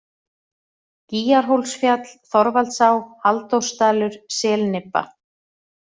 Gýgjarhólsfjall, Þorvaldsá, Halldórsdalur, Selnibba